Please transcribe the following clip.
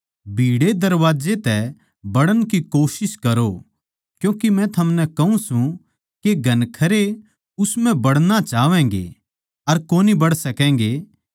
भीड़ै दरबाजे तै बड़ण की कोशिश करो क्यूँके मै थमनै कहूँ सूं के घणखरे उस म्ह बड़ना चाहवैगें अर कोनी बड़ सकैगें